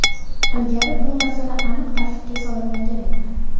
Ilgari bu masala aniq tartibga solinmagan edi.